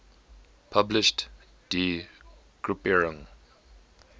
published die gruppierung